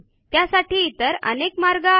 त्यासाठी इतर अनेक मार्ग आहेत